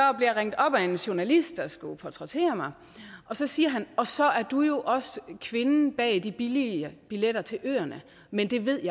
jeg ringet op af en journalist der skulle portrættere mig og så siger han og så er du jo også kvinden bag de billige billetter til øerne men det ved